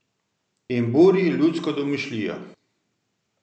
In buri ljudsko domišljijo.